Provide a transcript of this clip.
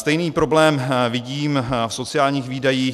Stejný problém vidím v sociálních výdajích.